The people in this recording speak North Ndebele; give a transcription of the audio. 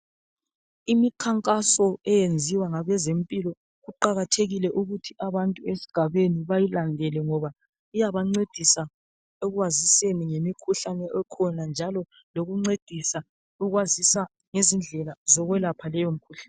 imikhankaso eyinziwa ngabezempilo kuqhakathekile ukuba abantu esigabeni bayilandele ngoba iyabancedisa ekwaziseni ngemikhuhlane ekhona njalo lokuncedisa ukwazisa lezindlela zokuyelapha leyo mkhuhlane